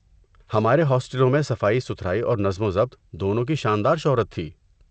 ہمارے ہاسٹلوں میں صفائی ستھرائی اور نظم و ضبط دونوں کی شاندار شہرت تھی۔